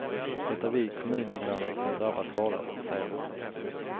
Det är vi kommuninvånare som drabbas hårdast, säger han.